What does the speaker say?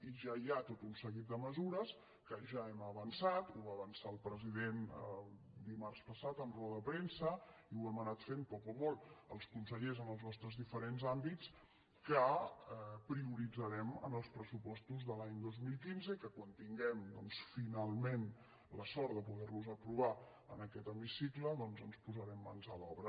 i ja hi ha tot un seguit de mesures que ja hem avançat ho va avançar el president dimarts passat en roda de premsa i ho hem anat fent poc o molt els consellers en els nostres diferents àmbits que prioritzarem en els pressupostos de l’any dos mil quinze i que quan tinguem finalment la sort de poderlos aprovar en aquest hemicicle doncs ens posarem mans a l’obra